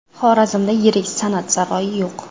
Xorazmda yirik san’at saroyi yo‘q.